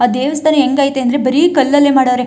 ಆ ದೇವಸ್ಥಾನ ಹೆಂಗೈತೆ ಅಂದ್ರೆ ಬರಿ ಕಲ್ಲಲ್ಲೇ ಮಾಡವ್ರೆ.